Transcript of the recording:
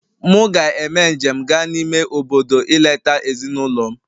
Mụ ga-eme njem gaa n'ime obodo ileta ezinụlọ m